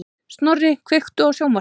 Snorri, kveiktu á sjónvarpinu.